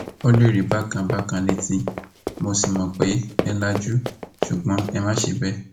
o lè rí bákan bákan létí mo sì mọ pé ẹ lajú ṣùgbọn ẹ má ṣe bẹẹ